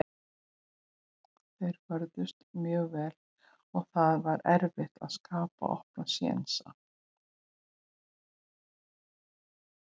Þeir vörðust mjög vel og það var erfitt að skapa opna sénsa.